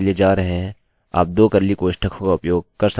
हमारा कोड कोष्ठकों के बीच में चला जायेगा